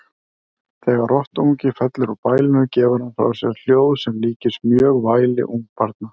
Þegar rottuungi fellur úr bælinu gefur hann frá sér hljóð sem líkist mjög væli ungbarna.